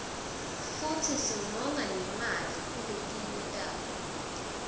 futsi singonga nemali kuletinye tato